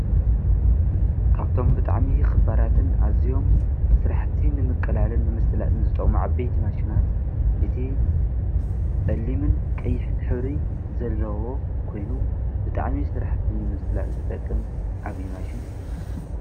ካብቶም ብጣዕሚ ክባራትን አዝዮም ስራሕቲ ንምቅላልን ንምስላጥን ዝጠቕሙ ዓበይቲ ማሽናት እቲ ፀሊምን ቀይሕን ሕብሪ ዘለዎ ኮይኑ ብጣዕሚ ስራሕቲ ንምስላጥ ዝጠቅም ዓብዪ ማሽን እዩ።